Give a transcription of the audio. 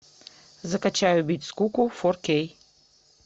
закачай убить скуку фор кей